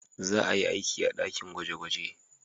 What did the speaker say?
Za a yi aiki a dakin gwaje-gwaje.